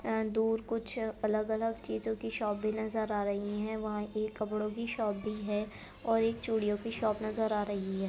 ए दूर कुछ अलग-अलग चीजों की शॉप भी नजर आ रही है वहाँं एक कपड़ों की शॉप भी है और एक चूड़ियों की शॉप नजर आ रही है।